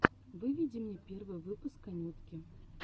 выведи мне первый выпуск анютки